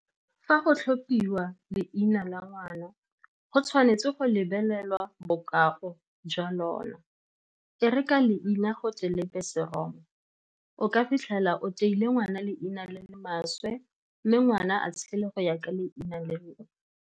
Fa go tlhophiwa leina la ngwana, go tshwanetse go lebelelwa bokao jwa lona. E re ka leina go tle lebe seroma, o ka fitlhela o teile ngwana leina le le maswe, mme ngwana a tshele go ya ka leina leo.